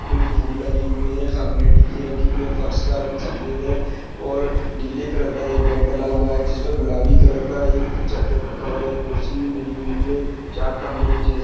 फूल लगे हुए है सामने डी.जे रखे हुए है फर्श का रंग सफेद है और नीले कलर का एक बेड दल हुआ है जिसपे गुलाबी कलर का एक चद्दर का कवर एक कुर्सी भी डली हुई है चार खम्बे एक जैसे--